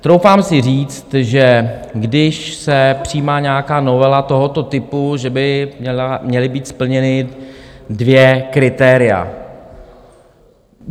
Troufám si říct, že když se přijímá nějaká novela tohoto typu, že by měla být splněna dvě kritéria.